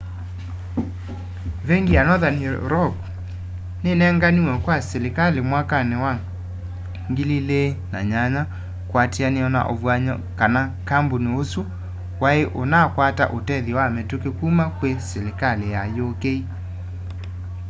vengi wa nothern rock ninenganiwe kwa silikali mwakani wa 2008 kuatiania na uvuany'o kana kampuni usu wai unakwata utethyo wa mituki kuma kwi silikali ya uk